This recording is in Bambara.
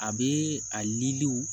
A bɛ a ye liw